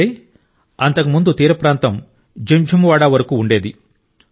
అంటే అంతకుముందు తీరప్రాంతం జింఝు వాడా వరకు ఉండేది